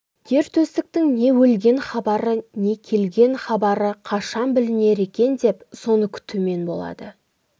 ер төстіктің не өлген хабары не келген хабары қашан білінер екен деп соны күтумен болады